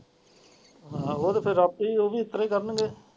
ਹਾਂ ਹੋਰ ਫੇਰ ਆਪੇ ਉਹ ਵੀ ਇਸ ਤਰਾਂ ਹੀ ਕਰਨ ਗਏ।